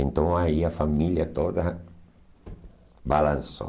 Então aí a família toda balançou.